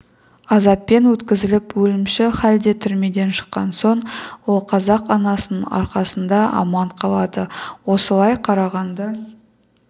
азаппен өткізіп өлімші халде түрмеден шыққан соң ол қазақ анасының арқасында аман қалады осылай қарағанды